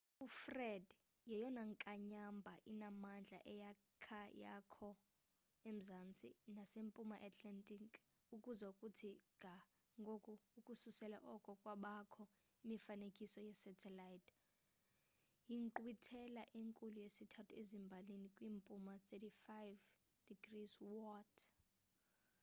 ufred yeyona nkanyamba inamandla eyakha yakho emzantsi nasempuma atlantic ukuza kuthi ga ngoku ukususela oko kwabakho imifanekiso ye-satelite yinkqwithela enkulu yesithathu ezimbalini kwimpuma 35°w